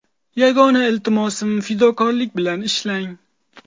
Yagona iltimosim fidokorlik bilan ishlang!